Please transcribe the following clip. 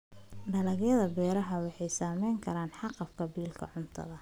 Dalagyada beeraha waxay saameyn karaan haqab-beelka cuntada.